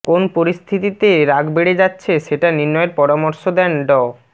কোন পরিস্থিতিতে রাগ বেড়ে যাচ্ছে সেটা নির্ণয়ের পরামর্শ দেন ড